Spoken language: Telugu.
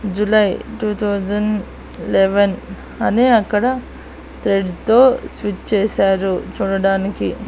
జూలై టూ తౌసండ్ లెవెన్ అని అక్కడ థ్రెడ్ తో స్విచ్ చేశారు చూడడానికి.